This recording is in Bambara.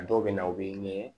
A dɔw bɛ na u bɛ